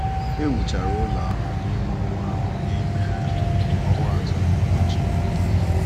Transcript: E wuchara ụlọ ahụ n’ime ọnwa ahụ n’ime ọnwa atọ na ụbọchị iri.